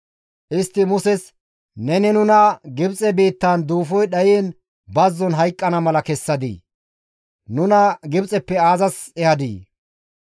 Istti Muses, «Neni nuna Gibxe biittan nuus duufoy dhayiin bazzon hayqqana mala kessadii? Nuna Gibxeppe aazas ehadii?